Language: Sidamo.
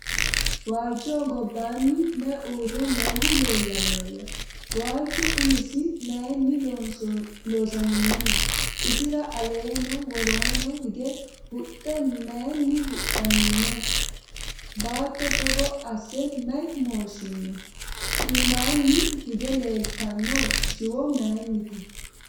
Waalichoho gobbanni mayi uure noohu leellannoya? Waalichu umisi mayiinni loosaminnoho? isira aleenna woroonni hige huxxu mayiinni huxamminno? Baatto togo asse mayi mooshinno? Iimmanni higge leelittanno shiwo mayiinnite?